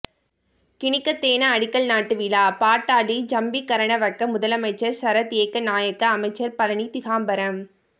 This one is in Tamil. கினிகத்தேன அடிகல் நாட்டு விழா பாட்டாளி ஜம்பிக்கரனவக்க முதலமைச்சர் சரத் ஏக்க நாயக்க அமைச்சர் பழனிதிகாம்பரம்